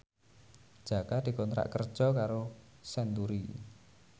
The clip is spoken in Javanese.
Jaka dikontrak kerja karo Century